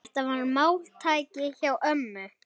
Þetta var máltæki hjá ömmu.